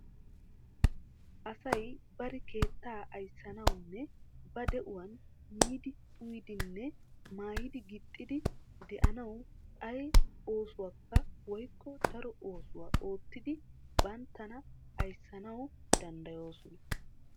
Asay bari keettaa ayssanawunne ba de'uwan miidi uyidinne maayidi gixxidi de'anawu ay oosuwakka woykko daro oosuwa oottidi banttana ayssanawu danddayoosina.